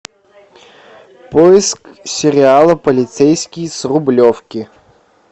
поиск сериала полицейский с рублевки